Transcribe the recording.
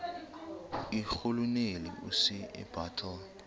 irhuluneli usir bartle